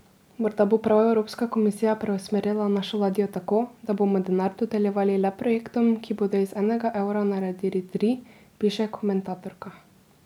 Morda bo prav evropska komisija preusmerila našo ladjo tako, da bomo denar dodeljevali le projektom, ki bodo iz enega evra naredili tri, piše komentatorka.